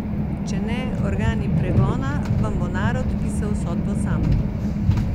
Če ne organi pregona, vam bo narod pisal sodbo sam!